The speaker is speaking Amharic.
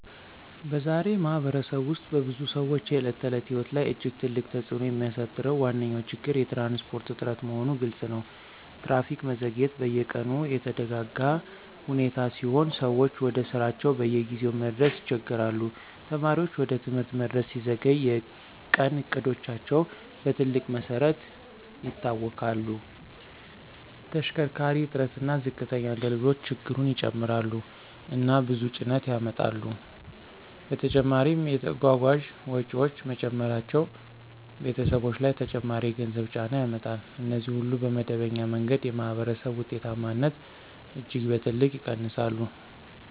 በዛሬ ማኅበረሰብ ውስጥ በብዙ ሰዎች የዕለት ተዕለት ሕይወት ላይ እጅግ ትልቅ ተጽእኖ የሚያሳድረው ዋነኛ ችግር የትራንስፖርት እጥረት መሆኑ ግልፅ ነው። ትራፊክ መዘግየት በየቀኑ የተደጋጋ ሁኔታ ሲሆን ሰዎች ወደ ስራቸው በጊዜ መድረስ ይቸገሣሉ። ተማሪዎች ወደ ትምህርት መድረስ ሲዘገይ የቀን እቅዶቻቸው በትልቅ መሰረት ይታወክላሉ። ተሽከርካሪ እጥረት እና ዝቅተኛ አገልግሎት ችግሩን ይጨምራሉ እና ብዙ ጭነት ያመጣሉ። በተጨማሪም የጓጓዣ ወጪዎች መጨመራቸው ቤተሰቦች ላይ ተጨማሪ የገንዘብ ጫና ያመጣል። እነዚህ ሁሉ በመደበኛ መንገድ የማኅበረሰብ ውጤታማነትን እጅግ በትልቅ ይቀንሳሉ